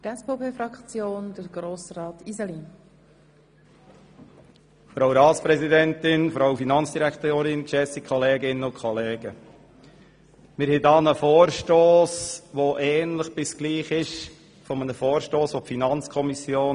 Wir haben hier einen Vorstoss, der fast gleich ist wie ein Vorstoss, den die FiKo im Jahr 2011 hier eingereicht hat, und welcher überwiesen wurde.